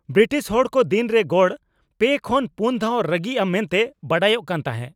British ᱦᱚᱲ ᱠᱚ ᱫᱤᱱ ᱨᱮ ᱜᱚᱲ ᱓ ᱠᱷᱚᱱ ᱔ ᱫᱷᱟᱣ ᱨᱟᱹᱜᱤᱜᱼᱟ ᱢᱮᱱᱛᱮ ᱵᱟᱰᱟᱭᱚᱜ ᱠᱟᱱ ᱛᱟᱦᱮᱸᱜ ᱾